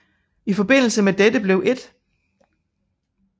I forbindelse med dette blev 1